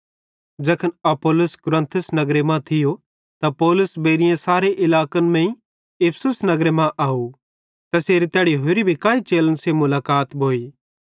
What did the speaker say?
ज़ैखन अपुल्लोस कुरिन्थुस नगरे मां थियो त पौलुस बेइएं सारे इलाकन मेइं इफिसुस नगरे मां आव तैसेरी तैड़ी होरे भी काई चेलन सेइं मुलाकत भोइ